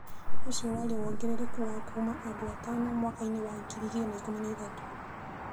ũcio warĩ wongerereku wa kuuma andũ atano mwaka-inĩ wa 2013.